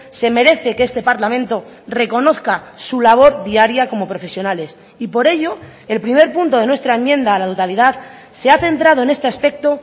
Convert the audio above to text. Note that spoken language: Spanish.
se merece que este parlamento reconozca su labor diaria como profesionales y por ello el primer punto de nuestra enmienda a la totalidad se ha centrado en este aspecto